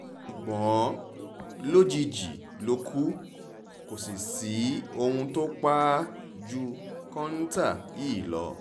ṣùgbọ́n lójijì ló kù kò sì sí ohun tó pa á ju kọ́ńtà yìí lọ